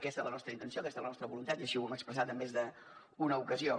aquesta és la nostra intenció aquesta és la nostra voluntat i així ho hem expressat en més d’una ocasió